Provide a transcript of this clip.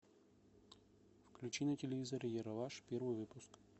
включи на телевизоре ералаш первый выпуск